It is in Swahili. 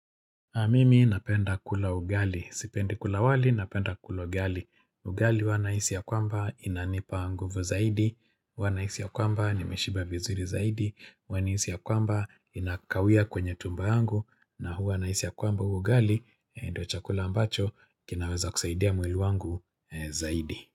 Mimi napenda kula ugali. Sipendi kula wali napenda kula ugali. Ugali huwa nahisi ya kwamba inanipa nguvu zaidi. Huwa nahisi ya kwamba nimeshiba vizuri zaidi. Na hisi ya kwamba inakawia kwenye tumba yangu. Na huwa na hisi ya kwamba ugali ndio chakula ambacho kinaweza kusaidia mwili wangu zaidi.